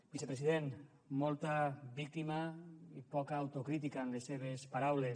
vicepresident molta víctima i poca autocrítica en les seves paraules